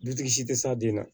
Dutigi si tɛ s'a den na